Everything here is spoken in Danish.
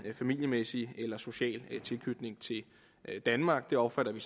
familiemæssig eller social tilknytning til danmark det opfatter vi